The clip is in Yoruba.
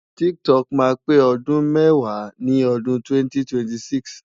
TikTok máa pé ọdún mẹ́wàá ní odún 2026.